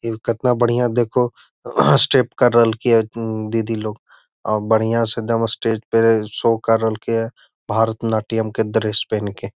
इ केतना बढ़िया देखोह स्टेप केर रहल के दीदी लोग अ बढ़िया से एकदम स्टेज पे शो कर रहल के ये भारत नाट्यम के ड्रेस पहन के।